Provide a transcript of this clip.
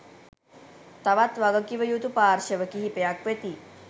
තවත් වගකිවයුතු පාර්ශ්ව කිහිපයක් වෙති